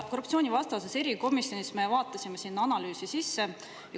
Korruptsioonivastases erikomisjonis me vaatasime selle analüüsi sisse.